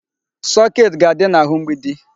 Socket ga-adị n'ahụ mgbidi.